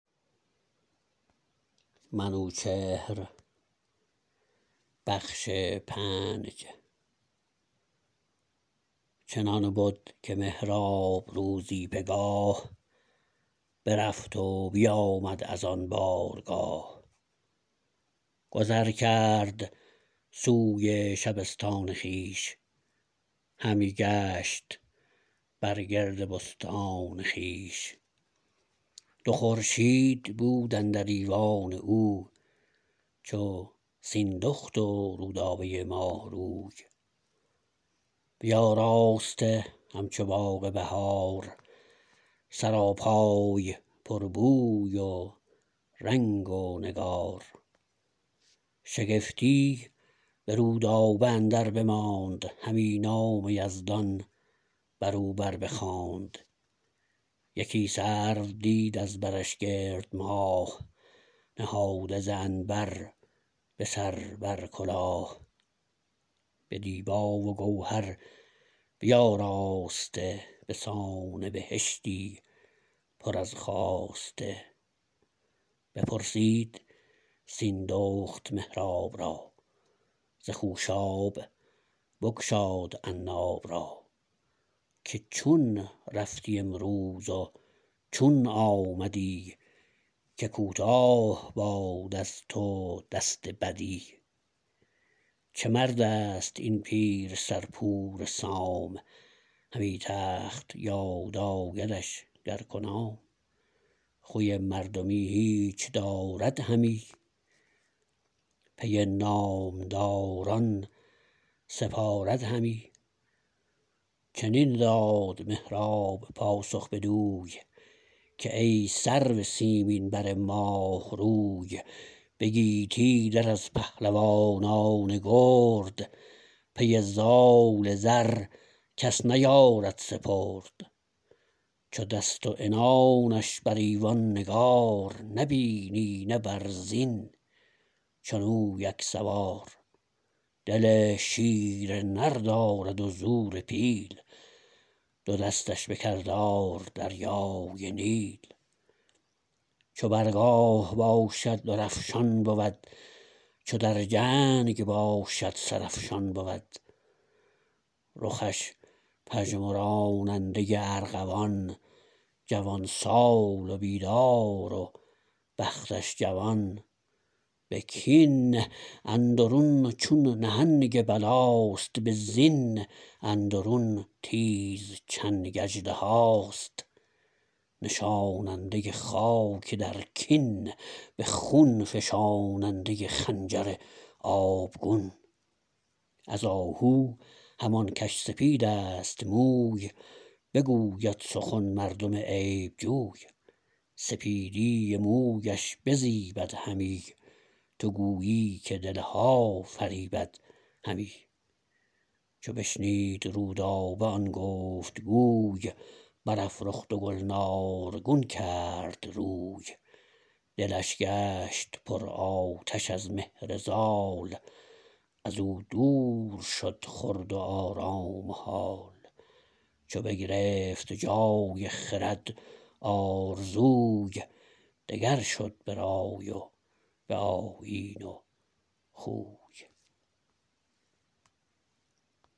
چنان بد که مهراب روزی پگاه برفت و بیامد از آن بارگاه گذر کرد سوی شبستان خویش همی گشت بر گرد بستان خویش دو خورشید بود اندر ایوان او چو سیندخت و رودابه ماه روی بیاراسته همچو باغ بهار سراپای پر بوی و رنگ و نگار شگفتی به رودابه اندر بماند همی نام یزدان بر او بر بخواند یکی سرو دید از برش گرد ماه نهاده ز عنبر به سر بر کلاه به دیبا و گوهر بیاراسته به سان بهشتی پر از خواسته بپرسید سیندخت مهراب را ز خوشاب بگشاد عناب را که چون رفتی امروز و چون آمدی که کوتاه باد از تو دست بدی چه مردست این پیر سر پور سام همی تخت یاد آیدش گر کنام خوی مردمی هیچ دارد همی پی نامداران سپارد همی چنین داد مهراب پاسخ بدوی که ای سرو سیمین بر ماه روی به گیتی در از پهلوانان گرد پی زال زر کس نیارد سپرد چو دست و عنانش بر ایوان نگار نبینی نه بر زین چون او یک سوار دل شیر نر دارد و زور پیل دو دستش به کردار دریای نیل چو بر گاه باشد در افشان بود چو در جنگ باشد سر افشان بود رخش پژمراننده ارغوان جوان سال و بیدار و بختش جوان به کین اندرون چون نهنگ بلاست به زین اندرون تیز چنگ اژدهاست نشاننده خاک در کین به خون فشاننده خنجر آبگون از آهو همان کش سپیدست موی بگوید سخن مردم عیب جوی سپیدی مویش بزیبد همی تو گویی که دلها فریبد همی چو بشنید رودابه آن گفت گوی برافروخت و گلنارگون کرد روی دلش گشت پرآتش از مهر زال از او دور شد خورد و آرام و هال چو بگرفت جای خرد آرزوی دگر شد به رای و به آیین و خوی